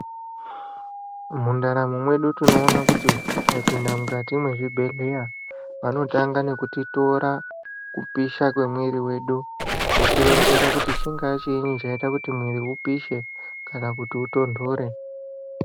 Mundaramo mwedu tinoona kuti tikapinda mukati mwe zvibhedhleya vanotanga nekuti tora kupisha kwe mwiri wedu woti ronzera kuti chingaa chinyi chaita kuti mwiri upishe kana kuti utondore.